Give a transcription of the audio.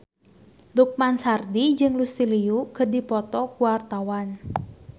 Lukman Sardi jeung Lucy Liu keur dipoto ku wartawan